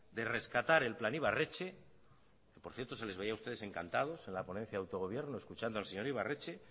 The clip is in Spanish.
de rescatar el plan ibarretxe por cierto se les veía a ustedes encantados en la ponencia de autogobierno escuchando al señor ibarretxe